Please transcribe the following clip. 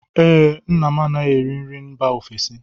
Ee, nna m anaghị eri nri mba ofesi